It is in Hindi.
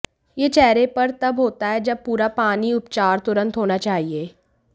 यह चेहरे पर तब होता है जब पूरा पानी उपचार तुरंत होना चाहिए